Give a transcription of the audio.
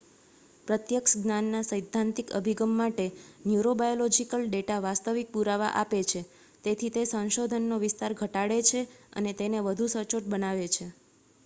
પ્રત્યક્ષ જ્ઞાનના સૈદ્ધાંતિક અભિગમ માટે ન્યુરોબાયોલોજિકલ ડેટા વાસ્તવિક પુરાવા આપે છે તેથી તે સંશોધનનો વિસ્તાર ઘટાડે છે અને તેને વધુ સચોટ બનાવે છે